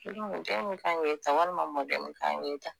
Kelen o den min kan k'e ta walima mɔden min kan k'e ta